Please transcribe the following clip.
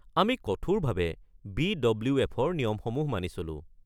আমি কঠোৰভাৱে বি.ডব্লিউ.এফ.-ৰ নিয়মসমূহ মানি চলো।